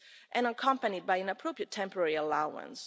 and accompanied by an appropriate temporary allowance.